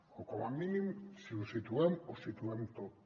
o com a mínim si ho situem ho situem tot